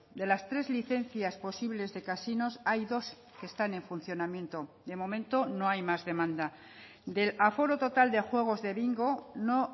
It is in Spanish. de las tres licencias posibles de casinos hay dos que están en funcionamiento de momento no hay más demanda del aforo total de juegos de bingo no